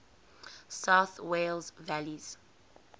south wales valleys